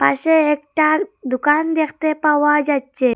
পাশে একটা দুকান দেখতে পাওয়া যাচ্ছে।